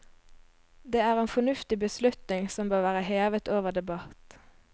Det er en fornuftig beslutning som bør være hevet over debatt.